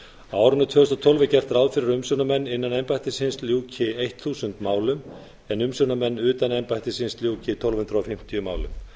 árinu tvö þúsund og tólf er gert ráð fyrir að umsjónarmenn innan embættisins ljúki þúsund málum en umsjónarmenn utan embættisins ljúki tólf hundruð fimmtíu málum